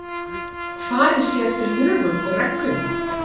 Farið sé eftir lögum og reglum